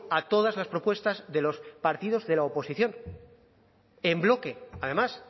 a todas las propuestas de los partidos de la oposición en bloque además